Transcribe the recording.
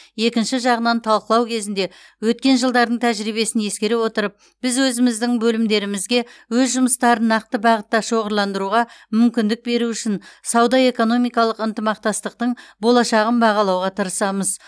екінші жағынан талқылау кезінде өткен жылдардың тәжірибесін ескере отырып біз өзіміздің бөлімдерімізге өз жұмыстарын нақты бағытта шоғырландыруға мүмкіндік беру үшін сауда экономикалық ынтымақтастықтың болашағын бағалауға тырысамыз